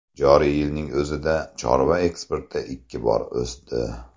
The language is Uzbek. Joriy yilning o‘zida chorva eksporti ikki bor o‘sdi.